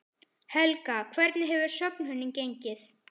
Helga, hvernig hefur söfnunin gengið?